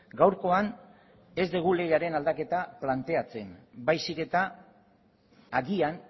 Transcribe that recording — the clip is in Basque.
gaurkoan ez dugu legearen aldaketa planteatzen baizik eta agian